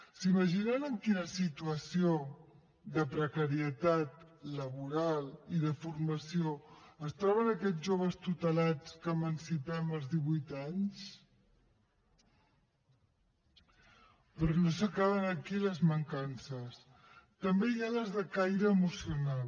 s’imaginen en quina situació de precarietat laboral i de formació es troben aquests joves tutelats que emancipem als divuit anys però no s’acaben aquí les mancances també hi ha les de caire emocional